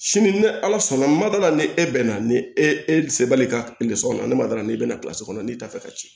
Sini ni ala sɔnna ma dala ni e bɛn na ni e e se b'a ka kɔnɔ ne ma dara n'i bɛna kɔnɔ n'i t'a fɛ ka ci